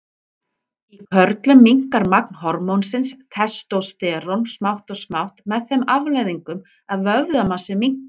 Í körlum minnkar magn hormónsins testósterón smátt og smátt með þeim afleiðingum að vöðvamassi minnkar.